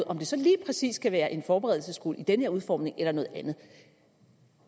om det så lige præcis skal være en forberedelsesskole i den her udformning eller noget andet